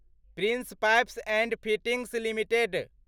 prince Pipes and Fittings limited